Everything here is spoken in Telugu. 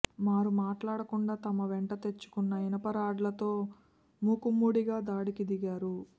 మారు మాట్లాడకుండా తమ వెంట తెచ్చుకున్న ఇనుప రాడ్లతో మూకుమ్మడిగా దాడికి దిగారు